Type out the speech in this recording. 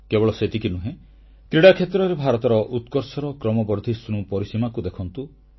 କେବଳ ସେତିକି ନୁହେଁ କ୍ରୀଡ଼ା କ୍ଷେତ୍ରରେ ଭାରତର ଉତ୍କର୍ଷର କ୍ରମବର୍ଦ୍ଧିଷ୍ଣୁ ପରିସୀମାକୁ ଦେଖନ୍ତୁ